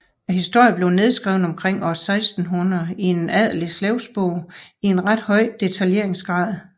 Historien blev nedskrevet omkring år 1600 i en adelig slægsbog i en ret høj detaljeringsgrad